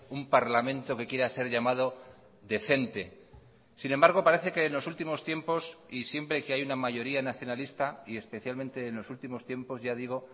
un parlamento que quiera ser llamado decente sin embargo parece que en los últimos tiempos y siempre que hay una mayoría nacionalista y especialmente en los últimos tiempos ya digo